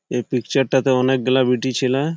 এই পিকচার -টাতে অনেকগুলা বিটিছেলে--